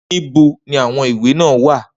Nibo ni awọn iwe naa wa.